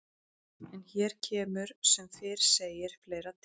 En hér kemur sem fyrr segir fleira til.